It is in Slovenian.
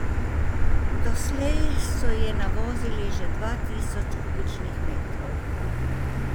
Doslej so je navozili že dva tisoč kubičnih metrov.